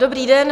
Dobrý den.